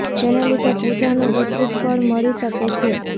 જેને લીધે પૂજા નું વિપરીત ફળ મળી શકે છે